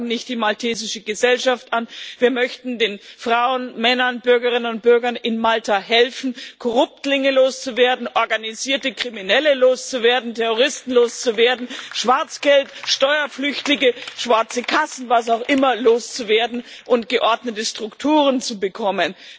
Wir klagen nicht die maltesische Gesellschaft an, wir möchten den Frauen, Männern, Bürgerinnen und Bürgern in Malta helfen, Korruptlinge, organisierte Kriminelle, Terroristen, Schwarzgeld, Steuerflüchtige, schwarze Kassen und was auch immer loszuwerden und geordnete Strukturen zu bekommen.